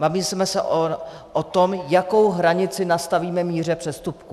Bavíme se o tom, jakou hranici nastavíme míře přestupku.